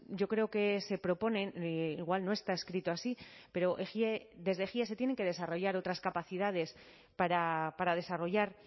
yo creo que se proponen igual no está escrito así pero desde ejie se tienen que desarrollar otras capacidades para desarrollar